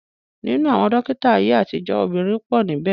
Ninu awon dokita aye atijo, obinrin po nibe.